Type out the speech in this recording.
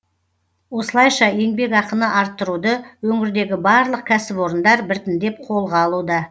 осылайша еңбекақыны арттыруды өңірдегі барлық кәсіпорындар біртіндеп қолға алуда